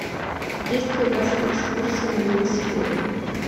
есть ли у вас экскурсии на велосипедах